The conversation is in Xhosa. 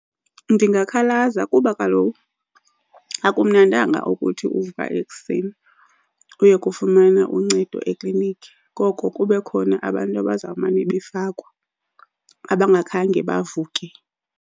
Ndingakhalaza kuba kaloku akumnandanga ukuthi uvuka ekuseni uyokufumana uncedo eklinikhi koko kube khona abantu abazawumane befakwa abangakhange bavuke.